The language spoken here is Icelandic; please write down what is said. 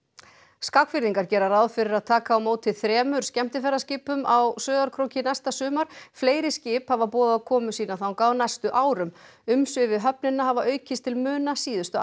Skagfirðingar gera ráð fyrir að taka á móti þremur skemmtiferðarskipum á Sauðárkróki næsta sumar fleiri skip hafa boðað komu sína þangað á næstu árum umsvif við höfnina hafa aukist til muna síðustu ár